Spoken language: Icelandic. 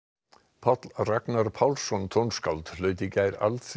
Páll Ragnar Pálsson tónskáld hlaut í gær